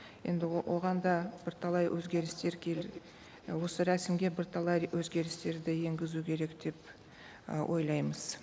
енді оған да бірталай өзгерістер осы рәсімге бірталай өзгерістерді енгізу керек деп ы ойлаймыз